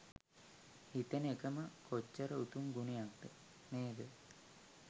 හිතන එකම කොච්චර උතුම් ගුණයක්ද නේද?